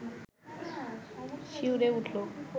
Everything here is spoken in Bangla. শিউরে উঠল